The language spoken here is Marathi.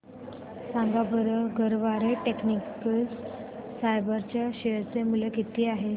सांगा बरं गरवारे टेक्निकल फायबर्स च्या शेअर चे मूल्य किती आहे